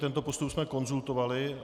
Tento postup jsme konzultovali.